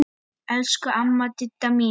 Elsku amma Didda mín.